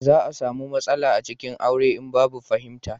za a samu matsala a cikin aure in babu fahimta